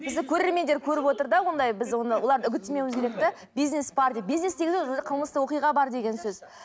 бізді көрермендер көріп отыр да ондай біз оны оларды үгіттемеуіміз керек де бизнес бар деп бизнес дегеніміз уже қылмыстық оқиға бар деген сөз